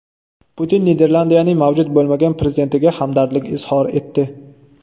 Putin Niderlandiyaning mavjud bo‘lmagan prezidentiga hamdardlik izhor etdi.